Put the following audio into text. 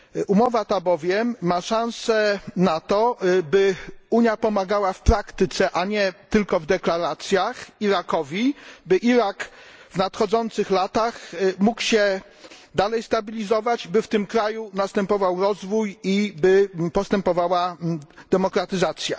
Umowa ta bowiem ma szansę na to, by Unia pomagała Irakowi w praktyce, a nie tylko w deklaracjach, by Irak w nadchodzących latach mógł się dalej stabilizować, by w tym kraju następował rozwój i postępowała demokratyzacja.